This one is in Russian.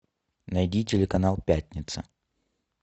найди телеканал пятница